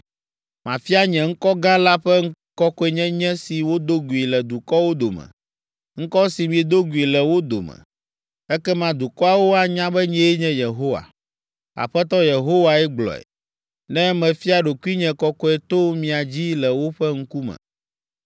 Mafia nye ŋkɔ gã la ƒe kɔkɔenyenye si wodo gui le dukɔwo dome, ŋkɔ si miedo gui le wo dome. Ekema dukɔawo anya be nyee nye Yehowa, Aƒetɔ Yehowae gblɔe, ne mefia ɖokuinye kɔkɔe to mia dzi le woƒe ŋkume.